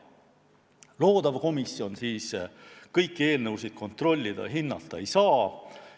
" Loodav komisjon kõiki eelnõusid kontrollida ja hinnata ei saa.